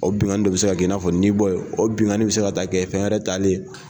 O bingani de bɛ se ka kɛ i na fɔ ni bɔ ye, o bingani bɛ se ka taa kɛ fɛn wɛrɛ taalen ye.